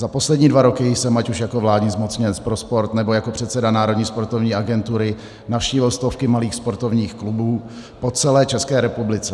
Za poslední dva roky jsem ať už jako vládní zmocněnec pro sport, nebo jako předseda Národní sportovní agentury navštívil stovky malých sportovních klubů po celé České republice.